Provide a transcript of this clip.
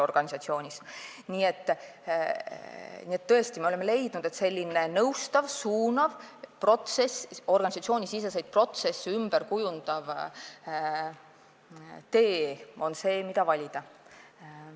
Nii et me oleme tõesti leidnud, et selline nõustav ja suunav protsess, organisatsioonisiseseid protsesse ümber kujundav tee on see, mis tuleks valida.